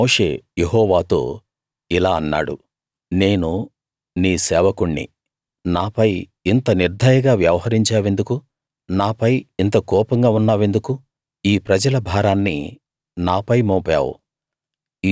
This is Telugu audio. అప్పుడు మోషే యెహోవాతో ఇలా అన్నాడు నేను నీ సేవకుణ్ణి నాపై ఇంత నిర్దయగా వ్యవహరించావెందుకు నాపై ఇంత కోపంగా ఉన్నావెందుకు ఈ ప్రజల భారాన్ని నాపై మోపావు